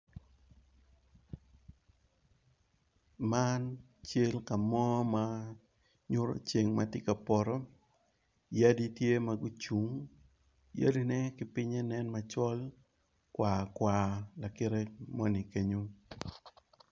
Man cal kamo ma nyuto ceng matye ka poto, yadi tye magucung, yadi ne kipinge nen macol kwar kwar lakire moni kenyo.